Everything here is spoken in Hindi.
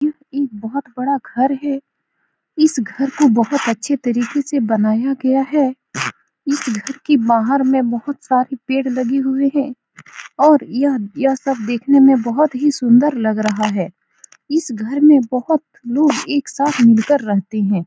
यह एक बोहोत बड़ा घर है। इस घर को बोहोत अच्छे तरीके से बनाया गया है। इस घर के बाहर में बोहोत सारे पेड़ लगे हुए हैं। और यह यह सब देखने में बहुत ही सुन्दर लग रहा है। इस घर में बोहोत लोग एक साथ मिलकर रहते हैं।